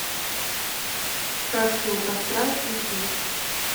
сказки у костра ищи